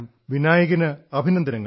വിനായകന് അഭിനന്ദനങ്ങൾ